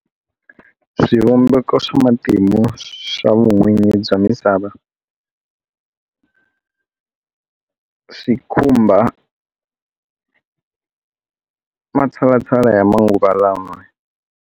Swivumbeko swa matimu swa vun'winyi bya misava swi khumba matshalatshala ya manguva lawa.